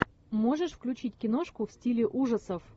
можешь включить киношку в стиле ужасов